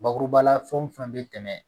Bakuruba la fɛn o fɛn bɛ tɛmɛ